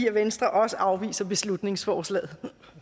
at venstre også afviser beslutningsforslaget